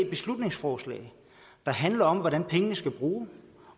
beslutningsforslag der handler om hvordan pengene skal bruges